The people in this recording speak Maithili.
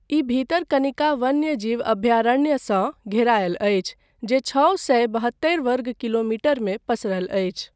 ई भितरकनिका वन्यजीव अभयारण्यसँ घेरायल अछि, जे छओ सए बहत्तरि वर्ग किलोमीटरमे पसरल अछि।